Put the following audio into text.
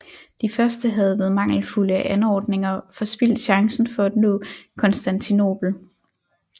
De første havde ved mangelfulde anordninger forspildt chancen for at nå Konstantinopel